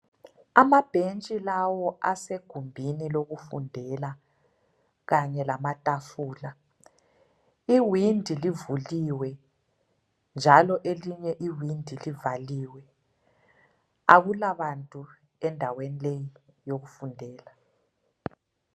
Amabhentshi lawo asegumbini lokufundela kanye lamatafula. Iwindi livuliwe njalo elinye iwindi livaliwe. Akulabantu endaweni leyi yokufundela.